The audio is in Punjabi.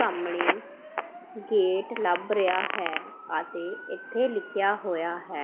ਸਾਹਮਣੇ ਗੇਟ ਲੱਭ ਰਿਹਾ ਹੈ ਅਤੇ ਇੱਥੇ ਲਿਖਿਆ ਹੋਇਆ ਹੈ --